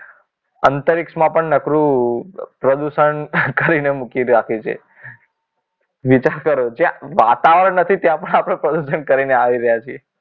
અંતરિક્ષમાં પણ નકરું પ્રદૂષણ કરીને મૂકી જ રાખ્યું છે વિચાર કરો જે આ વાતાવરણ નથી ત્યાં પણ આપણે પ્રદૂષણ કરીને આવી રહ્યા છીએ